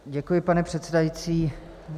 Děkuji, pane předsedající.